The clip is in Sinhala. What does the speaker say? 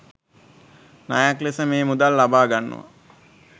ණයක් ලෙස මේ මුදල් ලබා ගන්නවා